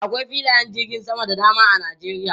Akwai filayen jirgin sama da dama a Nijeriya.